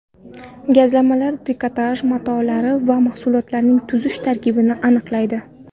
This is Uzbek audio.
Gazlamalar, trikotaj matolari va mahsulotlarining tuzilish tarkibini aniqlaydi.